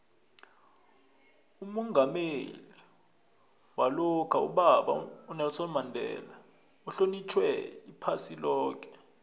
umongameli walokha ubaba unelson mandela uhlonitjhwa iphasi loke